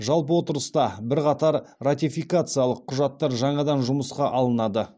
жалпы отырыста бірқатар ратификациялық құжаттар жаңадан жұмысқа алынады